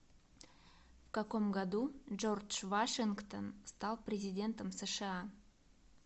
в каком году джордж вашингтон стал президентом сша